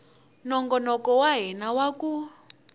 nongonoko wa hina wa ku